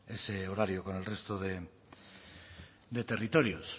ese horario con el resto de territorios